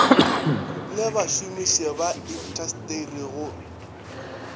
le bašomiši ba intasteri go